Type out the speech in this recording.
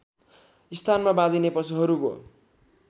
स्थानमा बाँधिने पशुहरूको